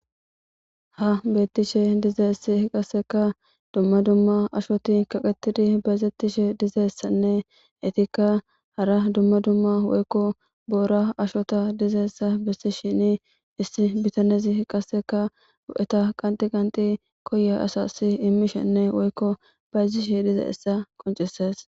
Ha beettishe dizayssi qasseka dumma dumma ashoti kaqettidi bayzettishe dizayssanne etikka hara dumma dumma woykko boora ashota dizayssa bessishini issi bitanezi qasseka bo7eta qanxi qanxi koya asassi immishenne woykko bayzishe dizayssa qonccissees.